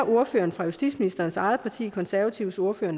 ordføreren for justitsministerens eget parti de konservatives ordfører